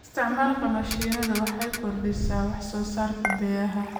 Isticmaalka mishiinada waxay kordhisaa wax soo saarka beeraha.